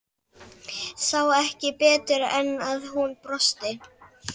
Sá ekki betur en að hún brosti.